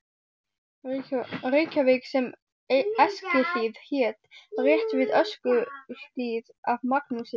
Reykjavík sem Eskihlíð hét, rétt við Öskjuhlíð, af Magnúsi